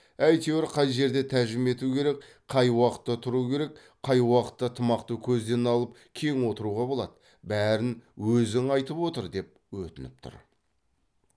әйтеуір қай жерде тәжім ету керек қай уақытта тұру керек қай уақытта тымақты көзден алып кең отыруға болады бәрін өзің айтып отыр деп өтініп тұр